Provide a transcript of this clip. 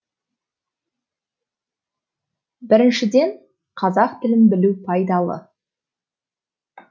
біріншіден қазақ тілін білу пайдалы